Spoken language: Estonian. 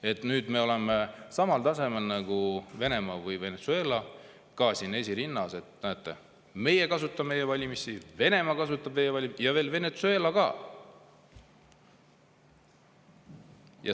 Et nüüd me oleme samal tasemel nagu Venemaa või Venezuela, oleme siin esirinnas: näete, meie kasutame e-valimisi, Venemaa kasutab ja veel Venezuela ka.